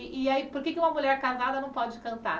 E e aí por que é que uma mulher casada não pode cantar?